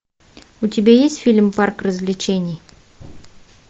у тебя есть фильм парк развлечений